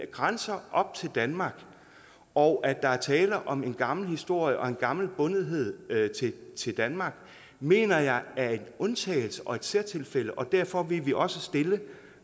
grænsende op til danmark og at der er tale om en gammel historie og en gammel bundethed til danmark mener jeg er en undtagelse og et særtilfælde og derfor ville vi også stille